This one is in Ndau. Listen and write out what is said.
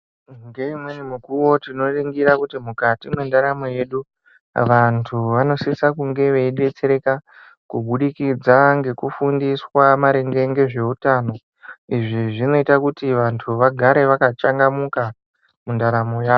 Ngeimweni mikuwo tinoringira kuti mukati mwendaramo yedu vantu vanosise kunge veidetsereka kubudikidza ngekufundiswa maringe ngezveutano. Izvi zvinoita kuti vantu vagare vakachangamuka mundaramo yawo.